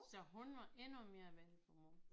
Så hun var endnu mere vendelbomål